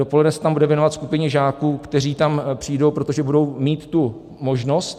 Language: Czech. Dopoledne se tam bude věnovat skupině žáků, kteří tam přijdou, protože budou mít tu možnost.